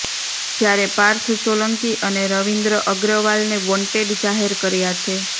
જ્યારે પાર્થ સોલંકી અને રવિન્દ્ર અગ્રવાલને વોન્ટેડ જાહેર કર્યા છે